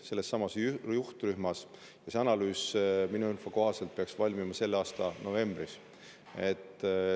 See analüüs peaks minu info kohaselt valmima selle aasta novembris.